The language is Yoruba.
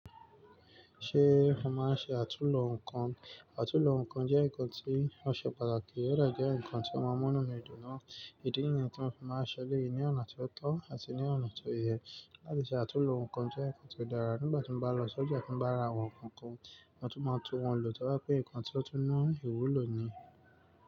Ṣé ò máa ń ṣe àtúnlo nǹkan? Àtúnlo ǹkan jẹ́ ǹkan tó ṣe pàtàkì, ó dẹ̀ jẹ́ ǹkan tó má ń mú inú mi dùn náà. Ìdí nǹkan tí mo fẹ́ máa ṣẹlẹ̀ yìí ni ọ̀nà tí ó tọ́ àti ní ọ̀nà tí ó yẹ. Látiṣẹ̀ àtúnlo nǹkan jẹ́ nǹkan tí ó dára. Nígbà tí mo bá lọ sọ́jà tí bá ra àwọn ǹkan kan, wọn tún máa tún wọn lò, tó bá pé nǹkan tí ó tún mú ìwúlò ni.